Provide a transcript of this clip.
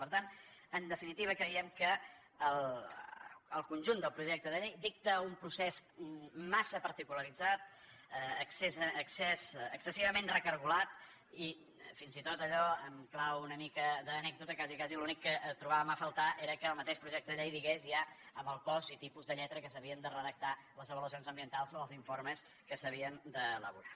per tant en definitiva creiem que el conjunt del projecte de llei dicta un procés massa particularitzat excessivament recargolat i fins i tot allò en clau una mica d’anècdota quasi quasi l’únic que trobàvem a faltar era que el mateix projecte de llei digués ja el cos i tipus de lletra amb què s’havien de redactar les avaluacions ambientals o els informes que s’havien d’elaborar